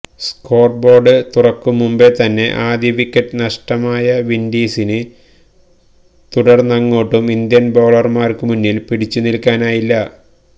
score board തുറക്കും മുമ്പേ തന്നെ ആദ്യ വിക്കറ്റ് നഷ്ടമായ വിൻഡീസിന് തുടർന്നങ്ങോട്ടും ഇന്ത്യൻ ബൌളർമാർക്ക് മുന്നിൽ പിടിച്ചുനിൽക്കാനായില്ല